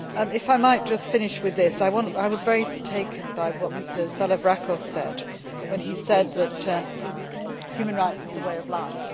If I might just finish with this, I was very taken by what Mr Salavrakos said when he said that human rights is a way of